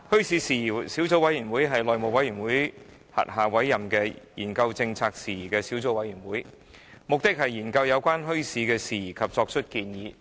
小組委員會是內務委員會轄下委任的研究政策政府事宜的小組委員會，目的是研究有關墟市事宜及作出建議。